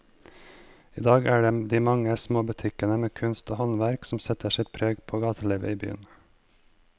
I dag er det de mange små butikkene med kunst og håndverk som setter sitt preg på gatelivet i byen.